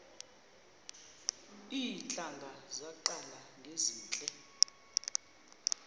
iintlanga zaqala ngezinje